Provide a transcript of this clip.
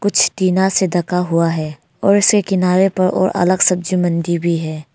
टीना से ढका हुआ है और उसके किनारे पर और अलग सब्जी मंडी भी है।